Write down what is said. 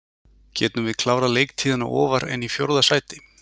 Getum við klárað leiktíðina ofar en í fjórða sæti?